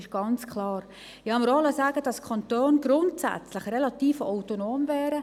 Ich habe mir auch sagen lassen, dass die Kantone grundsätzlich relativ autonom wären.